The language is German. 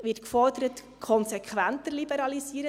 Da wird gefordert, konsequenter zu liberalisieren.